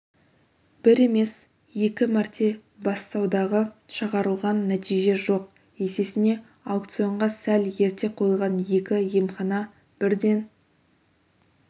бір емес екі мәрте бәссаудаға шығарылған нәтиже жоқ есесіне аукционға сәл ерте қойылған екі емхана бірден